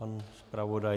Pan zpravodaj?